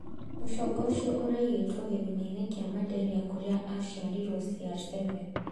Mũcongo ũcio ũraigĩtwo gĩthima-inĩ kia Maderia kũrĩa aciarĩirwo CR7